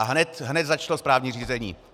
A hned začalo správní řízení!